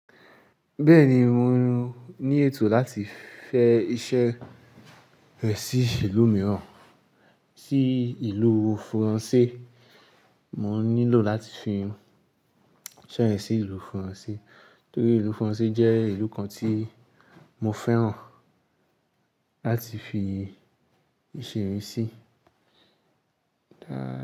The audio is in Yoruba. Bẹ́ẹ̀ni, mò ní ètò láti fẹ́ iṣẹ́ rẹ sí ìlú mìíràn, sí ìlú France. Mò nílò láti fi iṣẹ́ yẹn sí ìlú France, torí ìlú France jẹ́ ìlú kan tí mò ń fẹ́ràn láti fi se eyii si.